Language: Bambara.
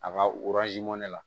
A ka mɔ ne la